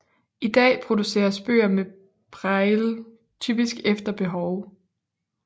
I dag produceres bøger med braille typisk efter behov